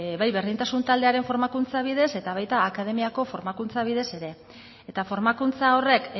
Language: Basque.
bai berdintasun taldearen formakuntza bidez eta baita akademiako formakuntza bidez ere eta formakuntza horrek